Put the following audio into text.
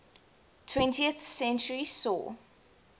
twentieth century saw